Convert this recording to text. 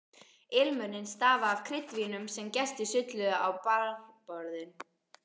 Ilmurinn stafaði af kryddvínum sem gestir sulluðu á barborðin.